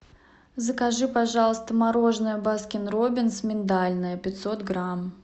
закажи пожалуйста мороженое баскин роббинс миндальное пятьсот грамм